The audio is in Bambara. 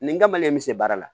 Nin kamalen me se baara la